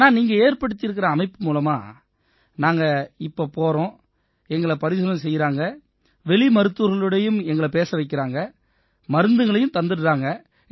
ஆனா நீங்க ஏற்படுத்தியிருக்கற அமைப்பு மூலமா நாங்க இப்ப போறோம் எங்களை பரிசோதனை செய்யறாங்க வெளி மருத்துவர்களோடயும் எங்களை பேச வைக்கறாங்க மருந்துகளையும் தந்துடறாங்க